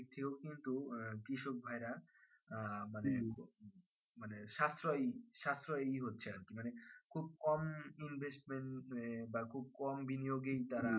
কৃষক ভাইরা আহ মানে সাশ্রয় সাশ্রয় হচ্ছে খুব কম investment বা খুব কম বিনিয়োগী যারা